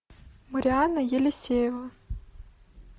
марианна елисеева